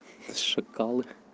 шакалы